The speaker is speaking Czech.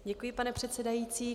Děkuji, pane předsedající.